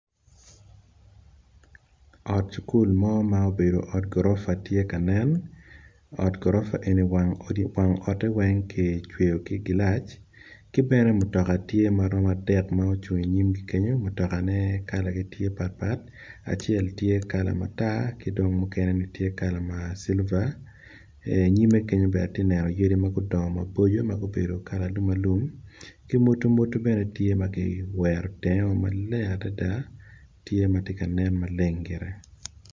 Ot skul mo ma obedo ot gorofa tye kanen ot goropa eni wang ote weng kicweyo ki glass ki bene mutoka tye ma romo adek ma ocungo i nyimgi kenyo mutoka ne kalane tye pat pat acel tye kala matar kidong mukene ni tye kala ma silver nyime kenyo bene atye neno yadi magudongo maboco magubedo kala alumalum ki mwadomwoto bene tye magiwerogi maleng adada tye matye ka nen maleng gire.